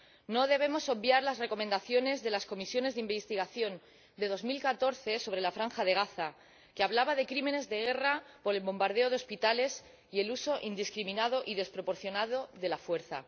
No debemos obviar las recomendaciones de las comisiones de investigación de 2014 sobre la Franja de Gaza, que hablaban de crímenes de guerra por el bombardeo de hospitales y el uso indiscriminado y desproporcionado de la fuerza.